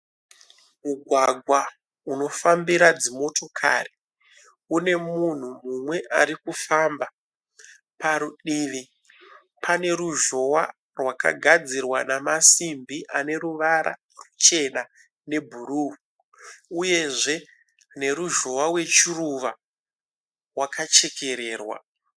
Mugwagwa unofambira dzimotokari une munhu mumwe arikufamba. Parutivi pane ruzhowa rwakagadzirwa nemasimbi aneruvara ruchena ne bhuruu uyezve neruzhowa rwechiruva rwakachekererwa.